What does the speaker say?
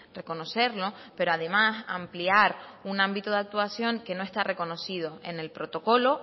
reconocerlo pero además ampliar un ámbito de actuación que no está reconocido en el protocolo